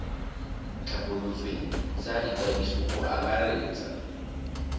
tlhabolotsweng tsa ikwadiso go akaretsa